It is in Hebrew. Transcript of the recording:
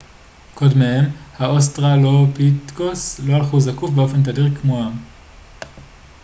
קודמיהם האוסטרלופיתקוס לא הלכו זקוף באופן תדיר כמוהם